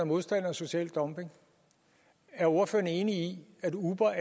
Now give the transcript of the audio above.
modstander af social dumping er ordføreren enig i at uber